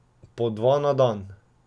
Po dva na dan.